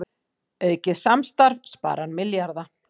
Aukið samstarf sparar milljarða